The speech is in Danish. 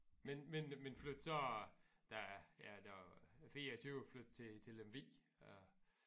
Men men men flyttede så da jeg da 24 flyttede til til Lemvig øh